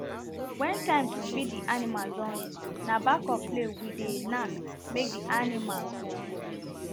wen time to feed the animals don reach na back of plate we dey nak make the animals for know